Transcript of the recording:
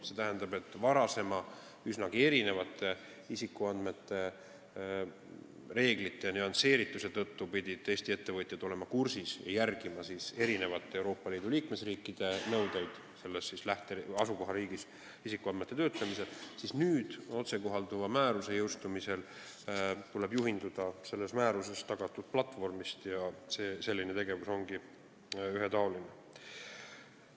See tähendab, et varasemate, uutest üsnagi erinevate isikuandmete kaitse reeglite nüansseerituse tõttu pidid Eesti ettevõtjad olema kursis Euroopa Liidu liikmesriikide nõuetega ja järgima neid asukohariigis isikuandmete töötlemisel, aga nüüd, otsekohalduva määruse jõustumisel, tuleb juhinduda selles määruses tagatud platvormist ning selline tegevus on ühetaoline.